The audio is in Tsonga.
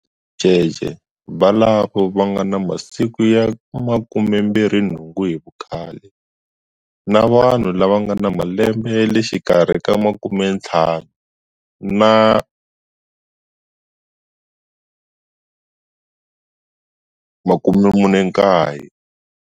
Ticece volavo va nga na masiku ya 28 hi vukhale, na vanhu lava nga na malembe ya le xikarhi ka 15 na 49.